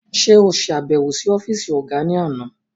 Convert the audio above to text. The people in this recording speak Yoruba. Ṣe o ṣabẹwo si ọfiisi ọga ni àna?